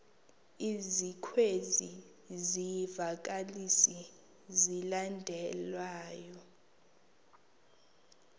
ezikwezi zivakalisi zilandelayo